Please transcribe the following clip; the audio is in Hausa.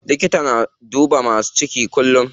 Likata yana duba masu ciki kullum.